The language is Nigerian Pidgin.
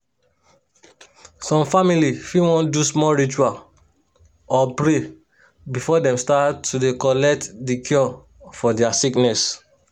some family fit wan do small ritual or pray before dem start to dey collect the cure for their sickness